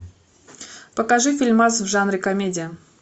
покажи фильмас в жанре комедия